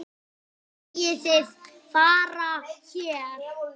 Megið þið vera hér?